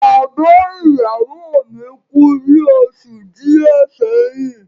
Bàbá ìyàwó mi kú ní oṣù díẹ̀ sẹ́yìn.